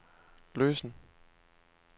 løsen